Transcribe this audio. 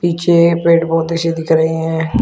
पीछे पेड़ पौधे से दिख रहे हैं।